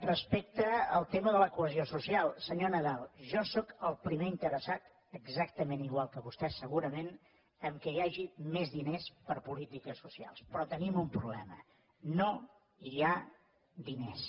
respecte al tema de la cohesió social senyor nadal jo sóc el primer interessat exactament igual que vostès segurament que hi hagi més diners per a polítiques socials però tenim un problema no hi ha diners